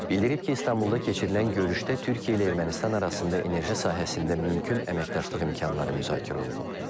Bildirib ki, İstanbulda keçirilən görüşdə Türkiyə ilə Ermənistan arasında enerji sahəsində mümkün əməkdaşlıq imkanları müzakirə olunub.